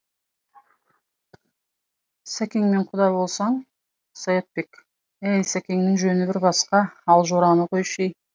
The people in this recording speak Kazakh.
сәкеңмен құда болсаң саятбек әй сәкеңнің жөні бір басқа ал жораны қойшы ей